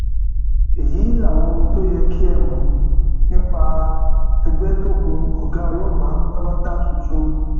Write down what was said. èyí làwọn ohun tó yẹ kẹ ẹ mọ nípa ẹgbẹtẹkùn ọgá ọlọpàá pátápátá tuntun